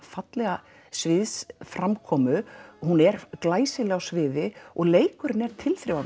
fallega sviðsframkomu hún er glæsileg á sviði og leikurinn er